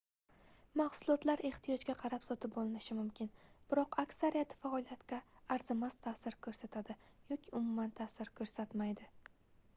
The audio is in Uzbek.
mahsulotlar ehtiyojga qarab sotib olinishi mumkin biroq aksariyati faoliyatga arzimas taʼsir koʻrsatadi yoki umuman taʼsir koʻrsatmaydi